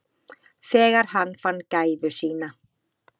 Þegar hann fann gæfu sína.